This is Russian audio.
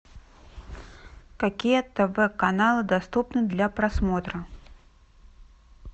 какие тв каналы доступны для просмотра